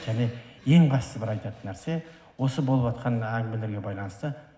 және ең басты бір айтатын нәрсе осы болыватқан әңгімелерге байланысты